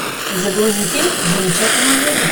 загрузи фильм замечательная жизнь